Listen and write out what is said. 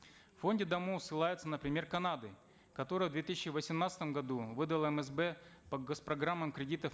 в фонде даму ссылаются на пример канады которая в две тысячи восемнадцатом году выдала мсб по госпрограммам кредитов